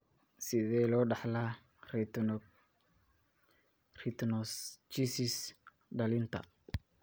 Sidee loo dhaxlaa retinoschisis dhallinta?